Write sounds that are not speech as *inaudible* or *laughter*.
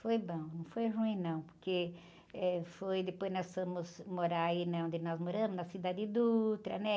Foi bom, não foi ruim não, porque, eh, foi, depois nós fomos morar aí, né? Onde nós moramos, na, *unintelligible* né?